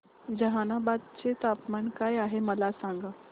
जहानाबाद चे तापमान काय आहे मला सांगा